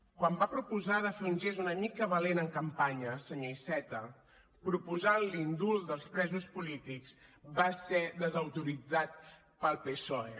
quan va proposar de fer un gest una mica valent en campanya senyor iceta proposant l’indult dels presos polítics va ser desautoritzat pel psoe